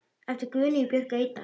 eftir Guðnýju Björk Eydal